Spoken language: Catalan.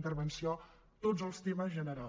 intervenció tots els temes generals